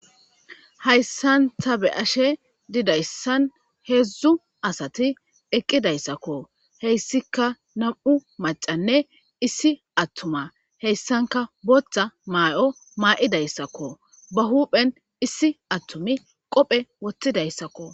Hayisan ta be, ashe dizayisi hedzdzu asati eqidayisako hesika na,mu na,mu maca,a nne issi atuma hesanka botha mayo mayidasako ba huphen issi atumayi qophe wotidayisako